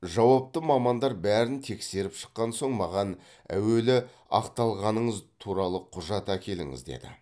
жауапты мамандар бәрін тексеріп шыққан соң маған әуелі ақталғаныңыз туралы құжат әкеліңіз деді